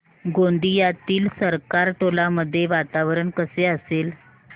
गोंदियातील सरकारटोला मध्ये वातावरण कसे असेल